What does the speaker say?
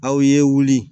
Aw ye wuli